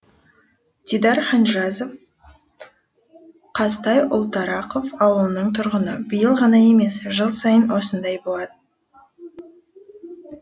дидар ханжазов қазтай ұлтарақов ауылының тұрғыны биыл ғана емес жыл сайын осындай болады